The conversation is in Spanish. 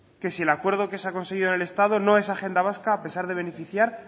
que si el acuerdo que se ha conseguido en el estado no es agenda vasca a pesar de beneficiar